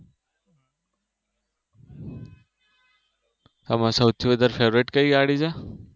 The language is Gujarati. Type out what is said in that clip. આમાં સૌથી વધારે Favorite કયી ગાડી છે?